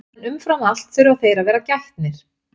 en umfram allt þurfa þeir að vera gætnir